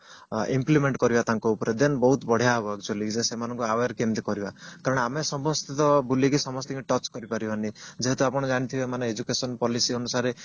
implement କରିବା ତାଙ୍କ ଉପରେ then ବହୁତ ବଢିଆ ହବ actually ଯେ ସେମାନଙ୍କୁ aware କେମିତେ କରିବା କାରଣ ଆମେ ସମସ୍ତେ ତ ବୁଲିକି ସମସ୍ତିଙ୍କି touch କରିପାରିବାନି ଯେହେତୁ ଆପଣ ଜାଣିଥିବେ education policy ଅନୁସାରେ